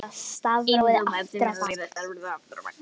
Einsog barn sem er að læra stafrófið aftur á bak.